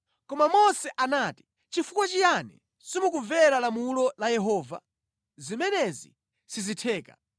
Koma Mose anati, “Chifukwa chiyani simukumvera lamulo la Yehova? Zimenezi sizitheka!